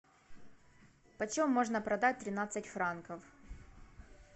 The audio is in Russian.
почем можно продать тринадцать франков